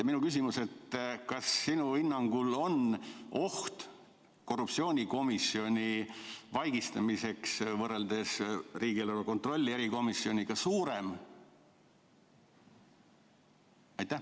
Minu küsimus: kas sinu hinnangul on oht korruptsioonikomisjoni vaigistamiseks võrreldes riigieelarve kontrolli erikomisjoniga suurem?